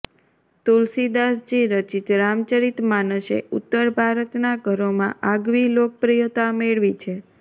તુલસીદાસજી રચિત રામચરિતમાનસે ઉત્તર ભારતનાં ઘરોમાં આગવી લોકપ્રિયતા મેળવી છે